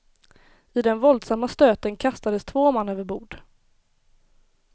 I den våldsamma stöten kastades två man över bord.